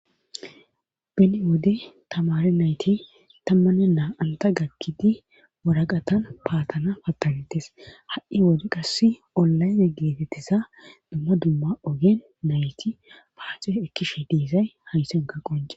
Beni wode tamare nayti tammane naa anta gakkidi waraqatan paatana pattanetes ha'i ode qasse olayze geetettiza dumma dumma ogen nayti paaxe ekkishe diisay haysanka qonce.